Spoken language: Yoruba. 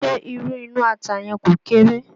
Ṣé irú inú ata yẹn kò kéré?